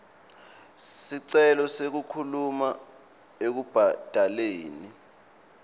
sicelo sekukhululwa ekubhadaleni